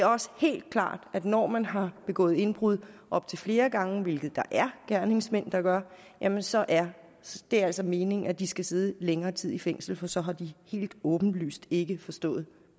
også helt klart at når man har begået indbrud op til flere gange hvilket der er gerningsmænd der gør jamen så er det altså meningen at de skal sidde længere tid i fængsel for så har de helt åbenlyst ikke forstået